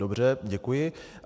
Dobře, děkuji.